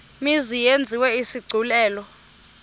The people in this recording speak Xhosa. mzi yenziwe isigculelo